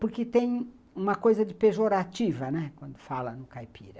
Porque tem uma coisa de pejorativa, né, quando fala no caipira.